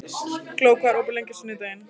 Gló, hvað er opið lengi á sunnudaginn?